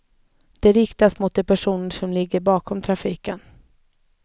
Den riktas mot de personer som ligger bakom trafiken.